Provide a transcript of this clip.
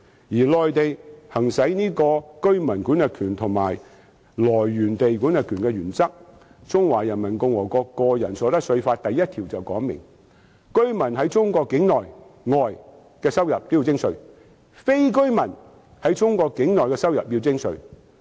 至於內地，則行使居民管轄權和收入來源地管轄權的原則，《中華人民共和國個人所得稅法》第一條便訂明，居民在中國境內、外的收入均要徵稅，非居民在中國境內的收入要徵稅。